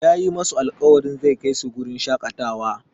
Yayi masu alƙawarin zai kai su wurin shaƙatawa.